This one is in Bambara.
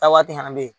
Taa waati fana bɛ yen